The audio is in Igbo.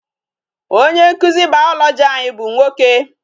Onye nkụzi biology anyị bụ nwoke.